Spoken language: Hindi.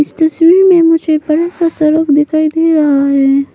तस्वीर में मुझे बड़ा सा सड़क दिखाई दे रहा है।